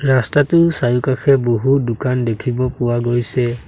ৰাস্তাটোৰ চাৰিওকাষে বহু দোকান দেখিব পোৱা গৈছে।